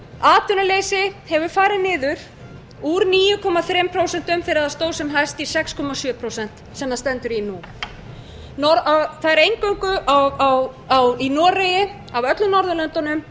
atvinnuleysi hefur farið niður úr níu komma þrjú prósent sem hækka í sex komma sjö prósent sem það stendur í nú af öllum norðurlöndunum